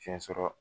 Fiɲɛ sɔrɔ